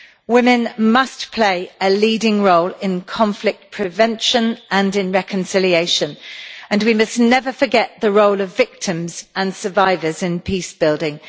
Women must play a leading role in conflict prevention and reconciliation and we must never forget the role of victims and survivors in peace building.